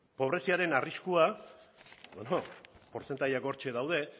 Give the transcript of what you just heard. pobreziaren arriskua portzentajeak hortzen daude